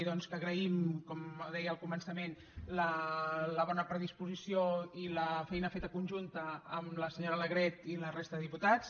dir que agraïm com deia al començament la bona predisposició i la feina feta conjunta amb la senyora alegret i la resta de diputats